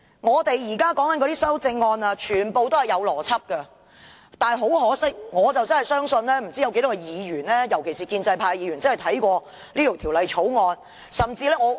我們現在討論的修正案全部也有邏輯，但很可惜，我不知道有多少議員尤其是建制派議員真的有看過這項《條例草案》。